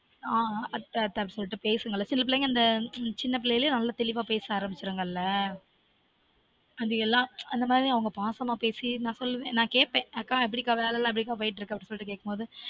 அத்த அத்த சொல்லிட்டு பேசுங்கல சில பிள்ளைங்க சின்ன பிள்ளைளே நல்லா தெளிவா பேச ஆரம்பிச்சுடுங்கல அது எல்லான் அந்த மாதிரி அவங்க பாசமா பேசி நான் குழந் நான் கேட்ப்பேன் அக்கா எப்பிடிக்கா வேல எல்லான் எப்பிடிக்கா போய்ட்டுருக்கு அப்டி சொல்லிட்டு கேட்கும் போது ஆன்